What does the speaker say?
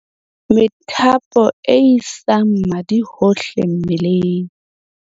methapo e isa madi hohle mmeleng